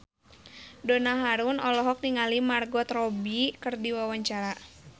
Donna Harun olohok ningali Margot Robbie keur diwawancara